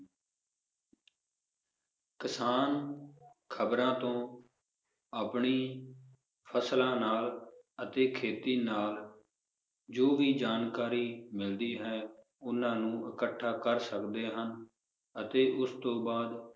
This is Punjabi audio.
ਕਿਸਾਨ ਖਬਰਾਂ ਤੋਂ ਆਪਣੀ ਫਸਲਾਂ ਨਾਲ ਅਤੇ ਖੇਤੀ ਨਾਲ ਜੋ ਵੀ ਜਾਣਕਾਰੀ ਮਿਲਦੀ ਹੈ ਉਹਨਾਂ ਨੂੰ ਇਕੱਠਾ ਕਰ ਸਕਦੇ ਹਨ ਅਤੇ ਉਸ ਤੋਂ ਬਾਅਦ